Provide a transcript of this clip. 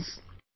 Friends,